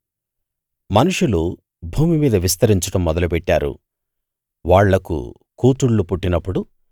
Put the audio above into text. మనుషులు భూమి మీద విస్తరించడం మొదలుపెట్టారు వాళ్లకు కూతుళ్ళు పుట్టినప్పుడు